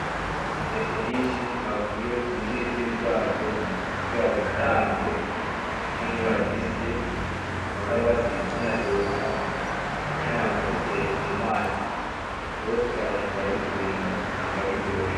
Intete nyinshi bakuye kubitiritiri vyazo kugira bazikarange canke bazisye bahora banazotsa bashaha bakaziteka mu mazi zose abantu barabikunda usanga biryoshe.